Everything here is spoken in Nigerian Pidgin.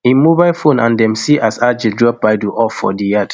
im mobile phone and dem see as adjei drop baidoo off for di yard